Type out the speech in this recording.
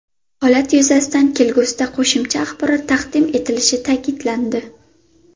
Holat yuzasidan kelgusida qo‘shimcha axborot taqdim etilishi ta’kidlandi.